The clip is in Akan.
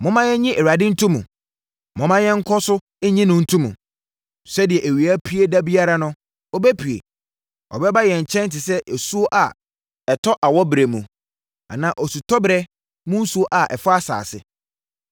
Momma yɛnnye Awurade nto mu; momma yɛn nkɔ so nnye no nto mu. Sɛdeɛ awia pue da biara no, ɔbɛpue; ɔbɛba yɛn nkyɛn te sɛ osuo a ɛtɔ awɔberɛ mu anaa osutɔberɛ mu nsuo a ɛfɔ asase.”